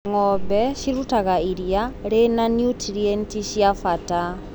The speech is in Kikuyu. Ngombe cirutaga iria rĩna nutrienti cia bata.